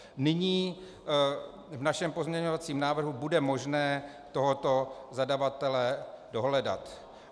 Nyní v našem pozměňovacím návrhu bude možné tohoto zadavatele dohledat.